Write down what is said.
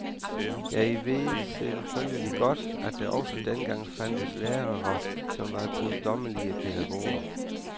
Jeg ved selvfølgelig godt, at der også dengang fandtes lærere, som var guddommelige pædagoger.